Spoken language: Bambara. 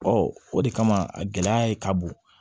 o de kama a gɛlɛya ye ka bon